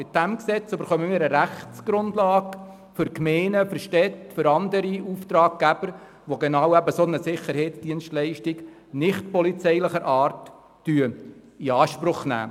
Mit diesem Gesetz erhalten wir eine Rechtsgrundlage für die Gemeinden und andere Auftraggeber, die eine nichtpolizeiliche Sicherheitsdienstleistung in Anspruch nehmen.